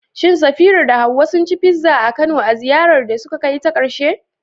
Shin Safira da Hawwa sun ci pizza a Kano a ziyarar da suka kai ta ƙarshe?